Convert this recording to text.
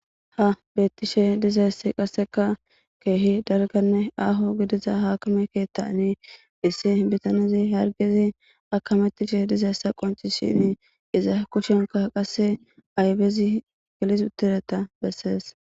Ha beettishe dizaessi qasseka keehi dalganne aaho gidiza haakame keettani issi bitanezi hargezi akamettishe dizaessa qonci shin iza kushenka qasse aybezi gelis utireta bessees.